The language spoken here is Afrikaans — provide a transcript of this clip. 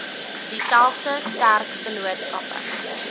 dieselfde sterk vennootskappe